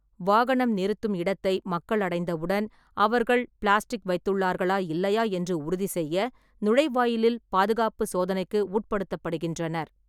வாகனம் நிறுத்தும் இடத்தை மக்கள் அடைந்தவுடன், அவர்கள் பிளாஸ்டிக் வைத்துள்ளார்களா இல்லையா என்று உறுதிசெய்ய நுழைவாயிலில் பாதுகாப்புச் சோதனைக்கு உட்படுத்தப்படுகின்றனர்.